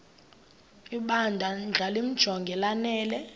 ibandla limjonge lanele